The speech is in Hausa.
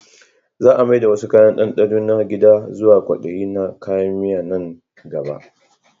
Za a mai da wasu kayan dandano na gida zuwa kwadaye na kayan miya a nan gaba